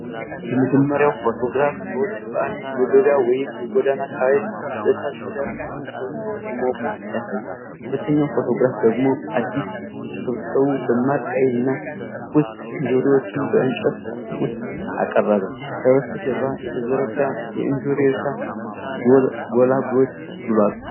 የመጀመሪያው ፎቶግራፍ ሰዎች በአንድ የገበያ ወይም የጎዳና አካባቢ በእሳት ዙሪያ ተሰብስበው ሲሞቁ ያሳያል። ሁለተኛው ፎቶግራፍ ደግሞ አዲስ የተሰበሰቡ ፣ደማቅ ቀይ እና ትኩስ እንጆሪዎችን በእንጨት ሳጥን ውስጥ አቀረበ። ከበስተጀርባ የተዘረጋ የእንጆሪ እርሻ ጎላ ብሏል።